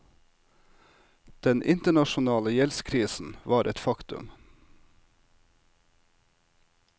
Den internasjonale gjeldskrisen var et faktum.